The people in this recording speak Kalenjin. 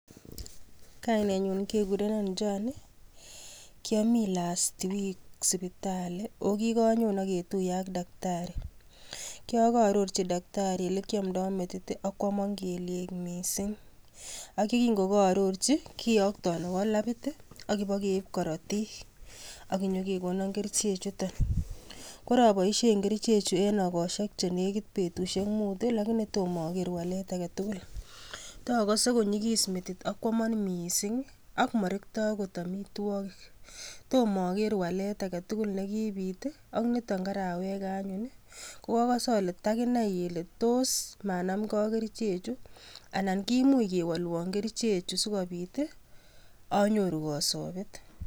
kainetnyun kekurenon joani, kiaimi last week sipitali kokiganyon aketuiye ak daktari kiagaaroirchi daktari ole kiamdoo metit [ii] akwomon keliek mising. Akingokaororchi kiyokton awo labit [ii] agibo keip korotik akenyokona kerchek chutok koraboisie kerchek chu eng egoshek chenekit betusiek muut lakini tomo aker walet aketugul toogose konyigis metit akwomon mising akmarektoi angot amitwokik tomooker walet aketugul nekibiit aknito karaweke anyun kwakose ale takinai kele tos maanamgei ak kerchechu anan kimuch kewolwon kerchechu sikobiit [ii] anyoru kasoobet